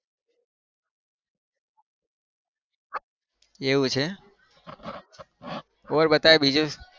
એવું છે? और बताई બીજું.